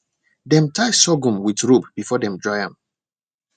dem tie sorghum with rope before dem dry am